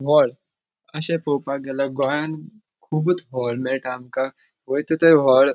व्हळ अशे पोपाक गेल्यार गोयान कुबुत व्हळ मेळटा आमका वयता थंय व्हळ.